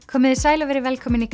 komiði sæl og verið velkomin í